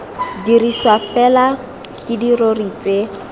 dirisiwa fela ke dirori tse